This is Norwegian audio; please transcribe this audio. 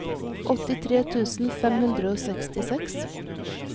åttitre tusen fem hundre og sekstiseks